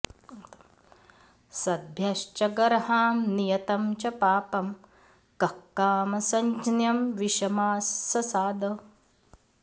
सद्भ्यश्च गर्हां नियतं च पापं कः कामसञ्ज्ञं विषमाससाद